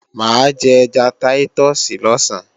Mà á jẹ ẹja táítọ̀sì lọ̀sán